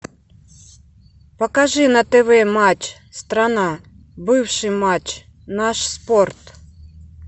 покажи на тв матч страна бывший матч наш спорт